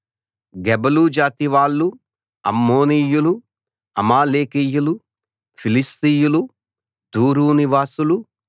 గెబలు జాతి వాళ్ళు అమ్మోనీయులు అమాలేకీయులు ఫిలిష్తీయులు తూరు నివాసులు